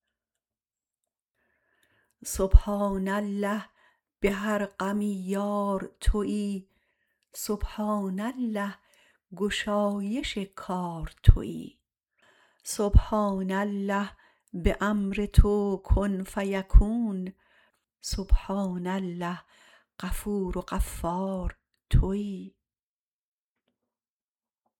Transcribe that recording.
سبحان الله به هر غمی یار تویی سبحان الله گشایش کار تویی سبحان الله به امر تو کن فیکون سبحان الله غفور و غفار تویی